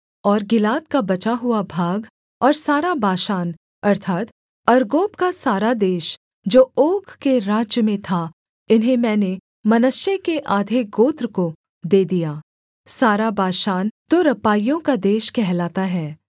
और गिलाद का बचा हुआ भाग और सारा बाशान अर्थात् अर्गोब का सारा देश जो ओग के राज्य में था इन्हें मैंने मनश्शे के आधे गोत्र को दे दिया सारा बाशान तो रपाइयों का देश कहलाता है